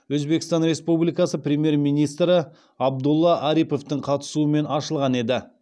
өзбекстан республикасы премьер министрі абдулла ариповтің қатысуымен ашылған еді